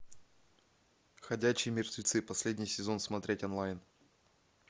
ходячие мертвецы последний сезон смотреть онлайн